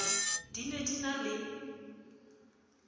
di ne di na le